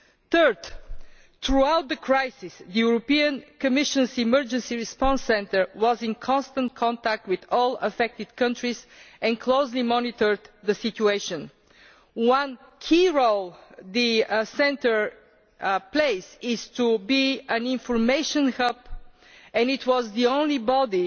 Thirdly, throughout the crisis the European Commission's Emergency Response Centre was in constant contact with all affected countries and closely monitored the situation. One key role the Centre plays is to be an information hub, and it was the only body